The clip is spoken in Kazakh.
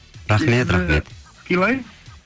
рахмет рахмет сыйлаймын